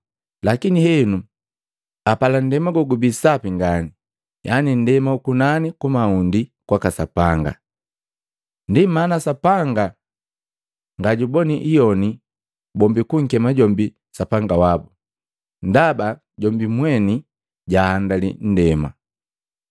Lakini henu apala nndema gogubii sapi ngani, yaani nndema ukunani kumaund kwaka Sapanga. Ndi mana Sapanga ngajuboni iyoni bombi kunkema jombi Sapanga wabu, ndaba jombi mweni jahandali nndema.